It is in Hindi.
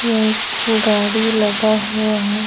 यहा एक गाड़ी लगा हुआ है।